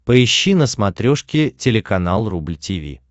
поищи на смотрешке телеканал рубль ти ви